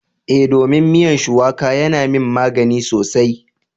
Eh, domin miyan shuwaƙa yana yin magani sosai